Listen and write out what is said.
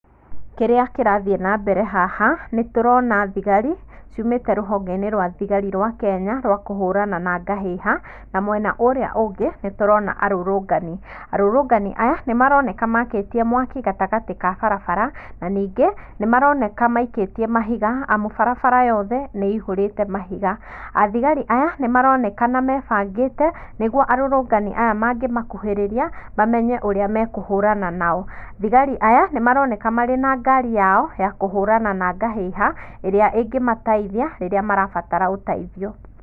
Kĩrĩa kĩrathiĩ na mbere haha nĩ tũrona thigari ciũmĩte rũhongeinĩ rwa thigari rwa Kenya kũhũrana na ngahĩha na mwena ũrĩa ũngĩ nĩ tũrona arũrũngani.Arũrũngani aya nĩmaroneka makĩtie mwaki gatagatĩ ka barabara na nĩngĩ nĩmaroneka maikĩtie mahiga barabara yothe ih urĩte mahiga, athigari aya maronekana mebangĩte, arũrũngani aya mangĩ makũhĩrĩiria mamenye ũrĩa mekũhurana nao .Thigari aya maroneka marĩ na ngari yao ya kũhũrana na ngahĩha ĩrĩa ĩngĩmateithia rĩrĩa marabatara ũteithio.